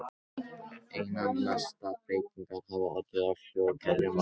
Einna mestar breytingar hafa orðið á hljóðkerfi málsins.